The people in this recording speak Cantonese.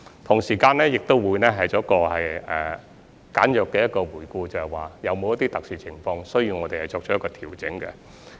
同時，我們亦會簡約地回顧，有否一些特殊情況需要我們作調整。